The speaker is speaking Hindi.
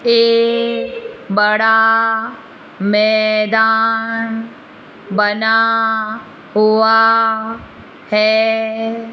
ए बड़ा मैदान बना हुआ है।